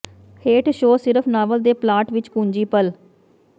ਹੇਠ ਸ਼ੋਅ ਸਿਰਫ ਨਾਵਲ ਦੇ ਪਲਾਟ ਵਿੱਚ ਕੁੰਜੀ ਪਲ